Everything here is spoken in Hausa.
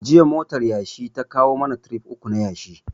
Jiya motar yashi ta kawo mana tirif uku na yashi